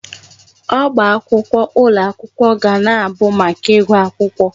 Ọba akwụkwọ ụlọ akwụkwọ ga na-abụ maka ịgụ akwụkwọ.